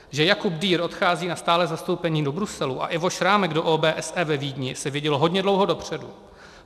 Že Jakub Dürr odchází na stálé zastoupení do Bruselu a Ivo Šrámek do OBSE ve Vídni, se vědělo hodně dlouho dopředu.